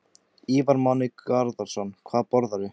Ívar Máni Garðarsson Hvað borðarðu?